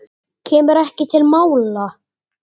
Kemur ekki til mála!